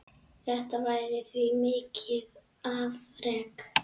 Þetta væri því mikið afrek.